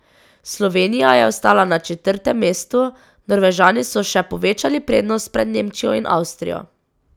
Slovenija je ostala na četrtem mestu, Norvežani so še povečali prednost pred Nemčijo in Avstrijo.